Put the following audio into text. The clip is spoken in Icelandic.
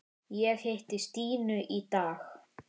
Ég hitti Stínu í dag.